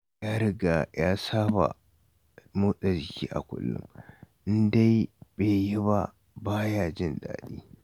Ya riga ya saba motsa jiki a kullum, in dai yi ba, ba ya jin daɗi